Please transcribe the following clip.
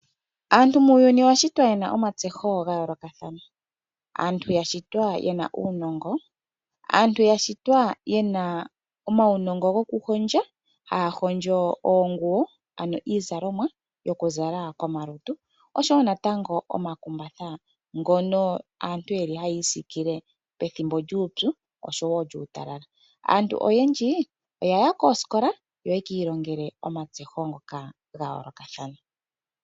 Aantu muuyuni oya shitwa ye na omatseho ga yoolokathana. Aantu ya shitwa ye uunongo, aantu ya shitwa ye na omaunongo gokuhondja, haa hondjo oonguwo, ano iizalomwa yokuzala komalutu, osho wo natango omakumbatha ngoka aantu haya isiikile pethimbo lyuupyu osho wo lyuutalala. Aantu oyendji oya ya koosikola, opo ye ki ilongele matseho ngoka ga yoolokathana.